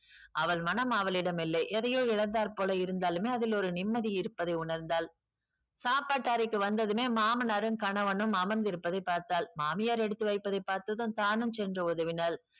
அவள் மனம் அவளிடம் இல்லை எதையோ இழந்தாற்போல இருந்தாலுமே அதில் ஒரு நிம்மதி இருப்பதை உணர்ந்தாள் சாப்பாட்டு அறைக்கு வந்ததுமே மாமனாரும் கணவனும் அமர்ந்திருப்பதைப் பார்த்தால் மாமியார் எடுத்து வைப்பதைப் பார்த்து தான் தானும் சென்று உதவினாள்